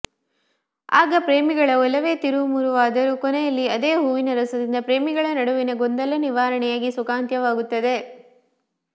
ಆಗ ಪ್ರೇಮಿಗಳ ಒಲವೇ ತಿರುವುಮುರುವಾದರೂ ಕೊನೆಯಲ್ಲಿ ಅದೇ ಹೂವಿನ ರಸದಿಂದ ಪ್ರೇಮಿಗಳ ನಡುವಣ ಗೊಂದಲ ನಿವಾರಣೆಯಾಗಿ ಸುಖಾಂತ್ಯವಾಗುತ್ತದೆ